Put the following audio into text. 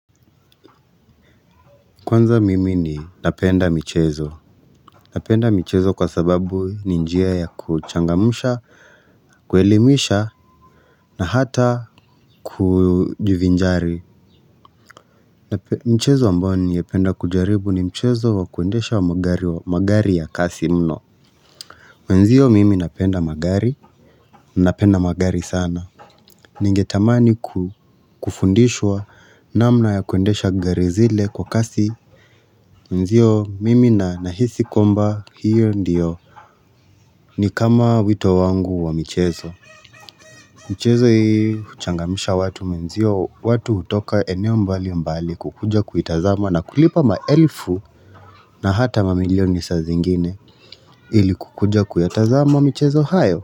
Kwanza mimi ninapenda michezo Napenda michezo kwa sababu ni njia ya kuchangamsha kuelimisha na hata kujivinjari Mchezo ambayo ningependa kujaribu ni mchezo wa kuendesha wa magari ya kasi mno mwenzio mimi napenda magari Napenda magari sana Ningetamani kufundishwa namna ya kuendesha gari zile kwa kasi mwenzio mimi na nahisi kwamba hiyo ndio ni kama wito wangu wa michezo. Michezo hii uchangamsha watu mwenzio, watu utoka eneo mbali mbali kukuja kuitazama na kulipa maelfu na hata mamilioni sa zingine ili kukuja kuyatazama michezo hiyo.